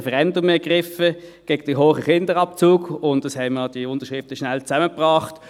das Referendum ergriffen gegen die hohen Kinderabzüge, und wir haben die Unterschriften rasch zusammengebracht.